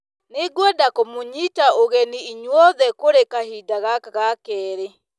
Nĩngwenda kũmũnyita ũgeni inyuothe kũrĩ kahinda gaka ga kerĩ.